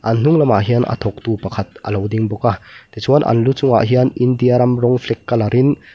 an hnung lamah hian a thawktu pakhat a lo ding bawk a tichuan an lu chungah hian india ram rawng flag color in --